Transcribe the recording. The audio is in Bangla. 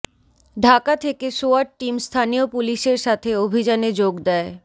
ঢাকা থেকে সোয়াট টিম স্থানীয় পুলিশের সাথে অভিযানে যোগ দেয়